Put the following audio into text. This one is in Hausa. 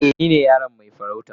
Eh, ni ne yaron mai farauta.